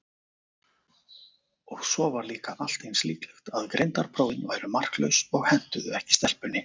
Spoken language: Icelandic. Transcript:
Og svo var líka allt eins líklegt að greindarprófin væru marklaus og hentuðu ekki stelpunni.